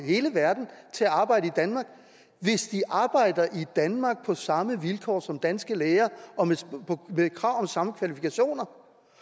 hele verden til at arbejde i danmark hvis de arbejder i danmark på samme vilkår som danske læger og med krav om samme kvalifikationer